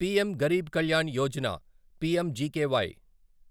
PM Garib Kalyan Yojana PMGKY